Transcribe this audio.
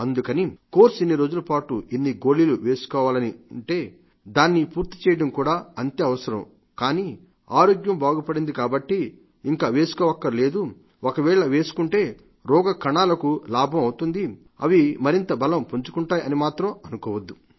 అందుకని కోర్సు ఎన్ని రోజుల పాటు ఎన్ని గోళీలు వేసుకోవాలని ఉంటే దాన్ని పూర్తిచేయడం కూడా అంతే అవసరం కానీ ఆరోగ్యం బాగుపడింది కాబట్టి ఇంకా వేసుకోవక్కర్లేదు ఒకవేళ వేసుకుంటే రోగ కణాలకి లాభమవుతుంది అవి మరింత బలం పుంజుకుంటాయి అని మాత్రం అనుకోవద్దు